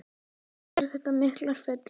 Allt eru þetta miklar furður.